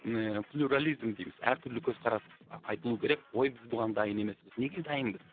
ыыы плюрализм дейміз әр түрлі көзқарас айтылу керек ой біз бұған дайын емеспіз неге дайынбыз